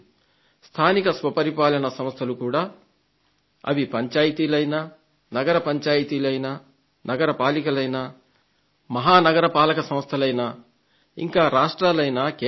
స్థానిక స్వపరిపాలన సంస్థలు కూడా అవి పంచాయతీలైనా నగర పంచాయతీలైనా నగరపాలికలైనా మహానగర సంస్థలైనా ఇంకా రాష్ట్రాలైనా కేంద్రమైనా